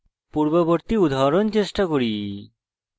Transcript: পূর্ববর্তী উদাহরণ চেষ্টা করি